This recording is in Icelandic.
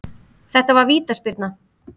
Þetta var vítaspyrna